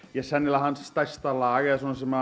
hans stærsta lag sem